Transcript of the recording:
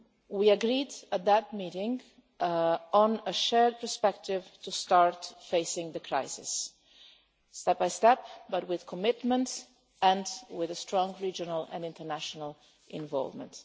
We agreed at that meeting on a shared perspective to start facing the crisis, step by step, but with commitments and with strong regional and international involvement.